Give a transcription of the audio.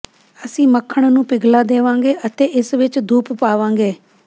ਅਸੀਂ ਮੱਖਣ ਨੂੰ ਪਿਘਲਾ ਦੇਵਾਂਗੇ ਅਤੇ ਇਸ ਵਿਚ ਦੁੱਧ ਪਾਵਾਂਗੇ